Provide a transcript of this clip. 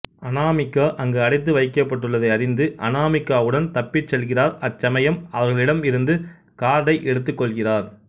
அநாமிகா அங்கு அடைத்து வைக்கப்பட்டுள்ளதை அறிந்து அநாமிகாவுடன் தப்பிச் செல்கிறார் அச்சமயம் அவர்களிடம் இருந்த கார்டை எடுத்துக்கொள்கிறார்